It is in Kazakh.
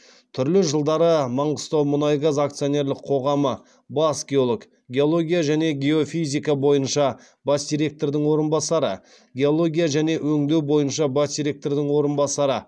түрлі жылдары маңғыстаумұнайгаз акционерлік қоғамы бас геолог геология және геофизика бойынша бас директордың орынбасары геология және өңдеу бойынша бас директордың орынбасары